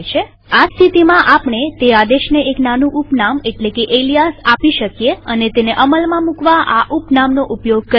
આ સ્થિતિમાં આપણે તે આદેશને એક નાનું ઉપનામ એટલે કે એલીયાસ આપી શકીએ અને તેને અમલમાં મુકવા આ ઉપનામ નો ઉપયોગ કરી શકીએ